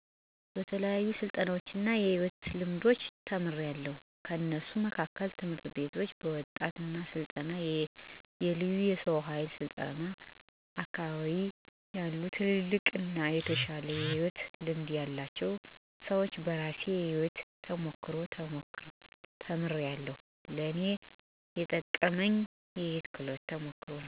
በተለያዩ ስልጠናዎች እና የሕይወት ልምዶች ተምሪያለዉ። ከነሱ መካከል፦ ትምህርት ቤቶች፣ በወጣቶች ስልጠና፣ የለዩ የሰው ሀይል ስልጠና፣ አካቢየ ያሉትልልቅ አና የተሻለ የሕይወት ልምድ ያላቸው ሰወች፣ በራሴ የሕይወት ተሞክሮ ተምሪያለዉ። ለእኔ የጠቀሙኝን ነገሮች በተለያየ መንገድ አስተላልፋለዉ። በምክር መልኩ እና በተግባር በማሳየት አስተላሰፋለዉ